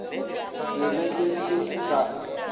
ke be ke se sa